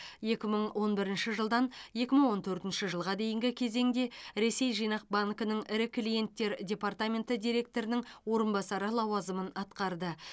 екі мың он бірінші жылдан екі мың он төртінші жылға дейінгі кезеңде ресей жинақ банкінің ірі клиенттер департаменті директорының орынбасары лауазымын атқарды